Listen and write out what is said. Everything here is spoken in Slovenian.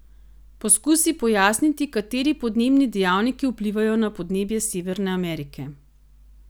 Poskusi pojasniti, kateri podnebni dejavniki vplivajo na podnebje Severne Amerike.